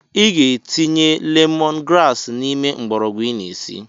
I ga-etinye lemon grass n’ime mgbọrọgwụ ị na esi